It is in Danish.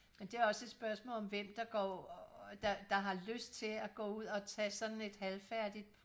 og det er også et spørgsmål om hvem der går der der har lyst til at gå ud og tage sådan et halvfærdigt